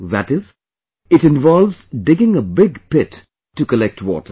That is, it involves digging a big pit to collect water